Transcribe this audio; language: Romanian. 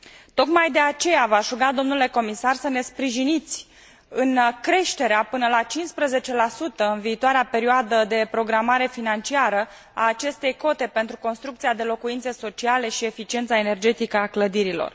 Tocmai de aceea v aș ruga, domnule comisar, să ne sprijiniți în creșterea până la 15 în viitoarea perioadă de programare financiară, a acestei cote pentru construcția de locuințe sociale și eficiența energetică a clădirilor.